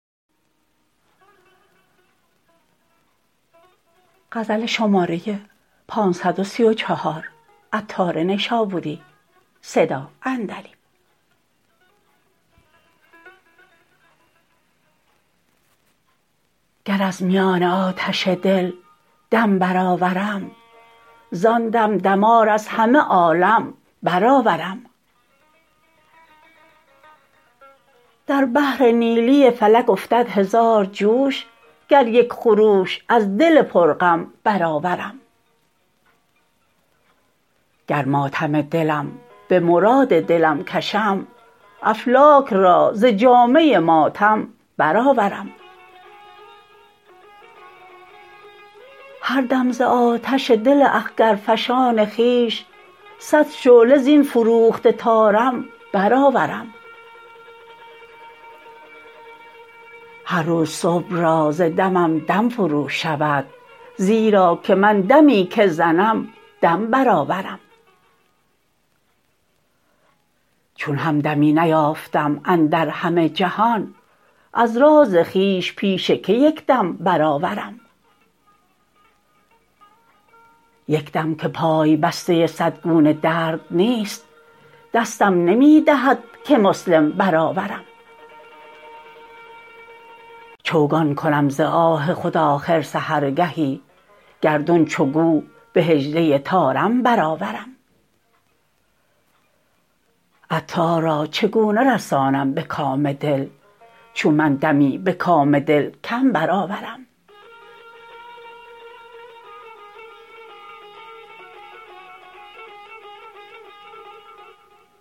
گر از میان آتش دل دم برآورم زان دم دمار از همه عالم برآورم در بحر نیلی فلک افتد هزار جوش گر یک خروش از دل پر غم برآورم گر ماتم دلم به مراد دلم کشم افلاک را ز جامه ماتم برآورم هر دم ز آتش دل اخگرفشان خویش صد شعله زین فروخته طارم برآورم هر روز صبح را ز دمم دم فرو شود زیرا که من دمی که زنم دم برآورم چون همدمی نیافتم اندر همه جهان از راز خویش پیش که یک دم برآورم یک دم که پای بسته صد گونه درد نیست دستم نمی دهد که مسلم برآورم چوگان کنم ز آه خود آخر سحرگهی گردون چو گو به حجله طارم برآورم عطار را چگونه رسانم به کام دل چون من دمی به کام دلم کم برآورم